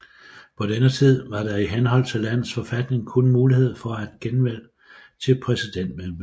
På denne tid var der i henhold til landets forfatning kun mulighed for et genvalg til præsidentemedet